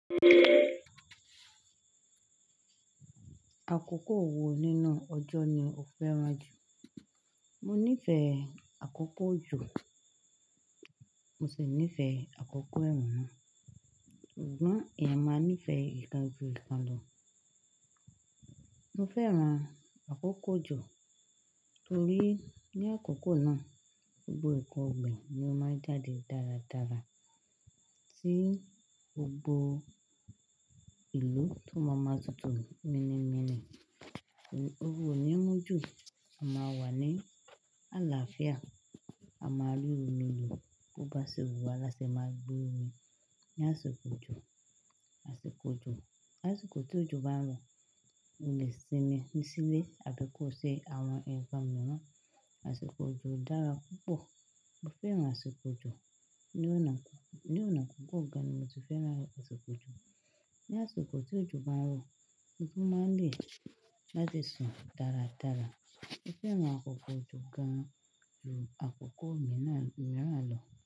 Àkókò wo nínú ọjọ́ ni o fẹ́ran jù? Mo nífẹ̀ẹ́ àkókò òjò, mo sì nífẹ̀ẹ́ àkókò ẹ̀rùn náà. Ṣùgbọ́n, èèyàn máa nífẹ̀ẹ́ ìkan ju ìkan lọ. Mo fẹ́ran àkókò òjò torí ní àkókò náà gbogbo ǹkan ọ̀gbìn ni ó máa ń jáde dáradára, tí gbogbo ìlú tó má má tutù mínì mínì. Ooru ò ní mú jù, a máa wà ní àlàáfíà, a máa rí omí lò, bó bá ṣe wùwà láṣẹ máa lò omi. Ni àsìkò òjò, àsìkò òjò, làsìkò tí òjò bá ń rọ̀, o lè sinmi ní sílé, àbí kó ṣe àwọn ǹkan mìíràn. Àsìkò òjò dára púpọ̀. Mo fẹ́ran àsìkò òjò ní ọ̀nà. Ní ọ̀nà púpọ̀ gan-an ni mo ti fẹ́ran àsìkò òjò. Ni àsìkò tí òjò bá ń rọ̀, ǹkan máa ń le jáde sùn dáradára. Mo fẹ́ran àkókò òjò gan-an ju àkókò mìíràn lọ.